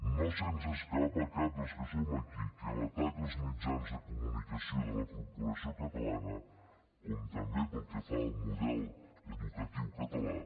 no se’ns escapa a cap dels que som aquí que l’atac als mitjans de comunicació de la corporació catalana com també pel que fa al model educatiu català